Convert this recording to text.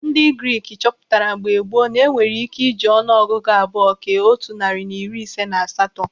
Ndị Grik chọpụtara mgbe gboo na-enwere ike iji ọnụ ọgụgụ abụọ kee otu narị na iri ise na asatọ.